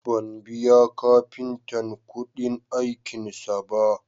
Ban biya kafintan kuɗin aikinsa ba